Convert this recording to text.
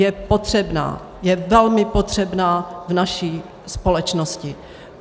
Je potřebná, je velmi potřebná v naší společnosti.